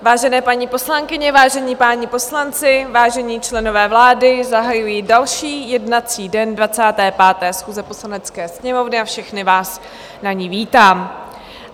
Vážené paní poslankyně, vážení páni poslanci, vážení členové vlády, zahajuji další jednací den 25. schůze Poslanecké sněmovny a všechny vás na ní vítám.